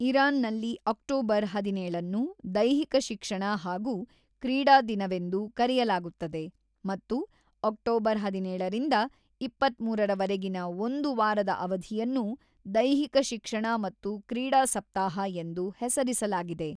ಇರಾನ್‌ನಲ್ಲಿ October ಹದಿನೇಳು ಅನ್ನು ದೈಹಿಕ ಶಿಕ್ಷಣ ಹಾಗೂ ಕ್ರೀಡಾ ದಿನವೆಂದು ಕರೆಯಲಾಗುತ್ತದೆ ಮತ್ತು ಅಕ್ಟೋಬರ್ ಹದಿನೇಳರಿಂದ ಇಪ್ಪತ್ತ್ಮೂರ ರವರೆಗಿನ ಒಂದು ವಾರದ ಅವಧಿಯನ್ನು ದೈಹಿಕ ಶಿಕ್ಷಣ ಮತ್ತು ಕ್ರೀಡಾ ಸಪ್ತಾಹ ಎಂದು ಹೆಸರಿಸಲಾಗಿದೆ.